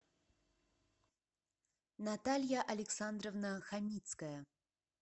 наталья александровна хамицкая